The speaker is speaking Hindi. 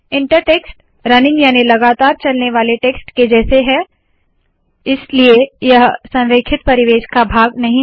इंटर टेक्स्ट रनिंग याने लगातार चलने वाले टेक्स्ट के जैसा है इसलिए यह संरेखित परिवेश का भाग नहीं है